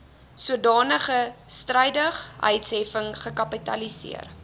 sodanige strydigheidsheffing gekapitaliseer